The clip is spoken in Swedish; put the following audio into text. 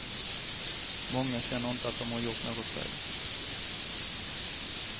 Många känner inte att de gjort något fel.